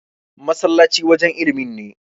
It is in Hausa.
masallacin wajen ilimin ne